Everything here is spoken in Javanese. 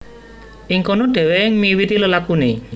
Ing kono dhèwèké miwiti lelakuné